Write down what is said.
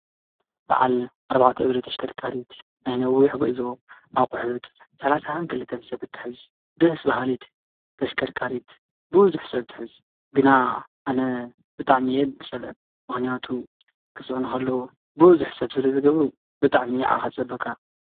በዓል ኣርባዕተ እግሪ ተሽከርከሪት ናይ ነዊሕ ጉዕዞ ኣቑሑት 32 ሰብ እትሕዝ ደስ ባሃሊት ተሽከርካሪት ብዙሕ ሰብ እትሕዝ ግና ኣነ ግን ብጣዕሚ እየ ዝፀልአን። ምኽንያቱ ክፅዕኑ ከለው ብዙሕ ሰብ ስለዝገብሩ ብጣዕሚ እዩ ዓቕልኻ ዝፀበካ።